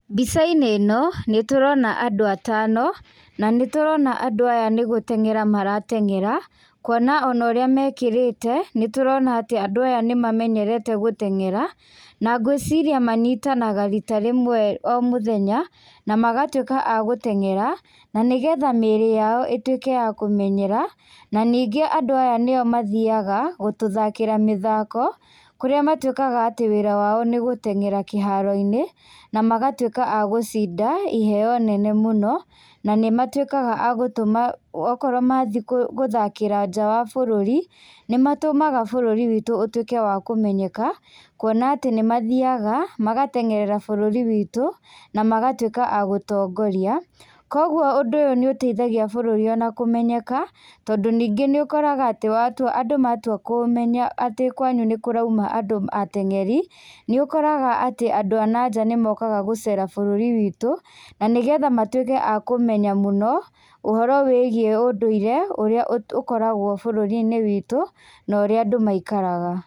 Mbica-inĩ ĩno, nĩtũrona andũ atano, na nĩtũrona andũ aya nĩ gũteng'era marateng'era, kuona onorĩa mekĩrĩte, nĩtũrona atĩ andũ aya nĩmamenyerete gũteng'era, na ngwĩciria manyitanaga rita rĩmwe o mũthenya, na magatwĩka a gũteng'era, nanĩgetha mĩĩrĩ yao ĩtwĩke ya kũmenyera, naningĩ andũ aya, nĩo mathiaga gũtũthakĩra mathako, kũrĩa matuĩkaga atĩ wĩra wao nĩgũteng'era kíharo-inĩ, na magatuĩka agũcinda iheo nene mũno, nanĩmatuĩkaga agũtũma, wokorwo mathii gũ gũthakĩra nja wa bũrũri, nĩmatũmaga bũrũri witũ ũtuĩke wa kũmenyeka, kuona atĩ nĩmathiaga, magateng'erera bũrũri witũ, na magatuĩka a gũtongoria, koguo ũndũ ũyũ nĩũteithagia bũrũri ona kũmenyeka, tondũ ningĩ nĩũkoraga atĩ watua, andũ matua kũũmenya atĩ kwanyu nĩkũrauma andũ ma ateng'eri, nĩũkoraga atĩ andũ a nanja nĩmokaga gũcera bũrũri witũ, kũmenya mũno, ũhoro wĩgie ũndũire ũrĩa ũkoragwo bũrũri-inĩ witũ, norĩa andũ maikaraga.